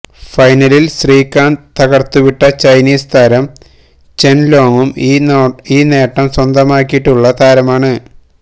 ഫൈനലിൽ ശ്രീകാന്ത് തകർത്തുവിട്ട ചൈനീസ് താരം ചെൻ ലോങ്ങും ഈ നേട്ടം സ്വന്തമാക്കിയിട്ടുള്ള താരമാണ്